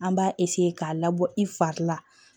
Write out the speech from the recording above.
An b'a k'a labɔ i fari la